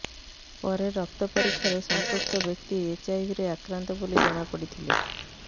ପରେ ରକ୍ତ ପରୀକ୍ଷାରେ ସଂପୃକ୍ତ ବ୍ୟକ୍ତି ଏଚ୍ଆଇଭିରେ ଆକ୍ରନ୍ତ ବୋଲି ଜଣା ପଡ଼ିଥିଲା